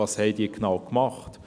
Was haben sie genau gemacht?